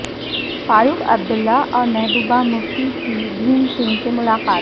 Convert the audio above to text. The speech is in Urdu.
فاروق عبداللہ اور محبوبہ مفتی کی بھیم سنگھ سے ملاقات